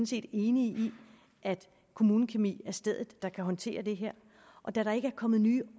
set enige i at kommunekemi er stedet man kan håndtere det og da der ikke er kommet nye